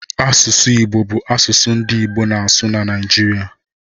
Asụsụ Igbo bụ asụsụ ndị Igbo na-asụ na Naịjirịa